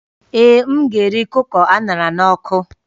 Ee, m ga-eri kụkọ a ṅara n'ọkụ